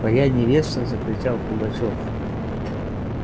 твоя невеста закричал пугачёв